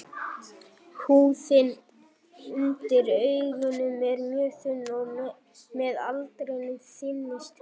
Húðin undir augunum er mjög þunn og með aldrinum þynnist hún.